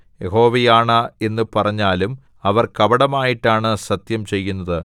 യഹോവയാണ എന്നു പറഞ്ഞാലും അവർ കപടമായിട്ടാണ് സത്യം ചെയ്യുന്നത്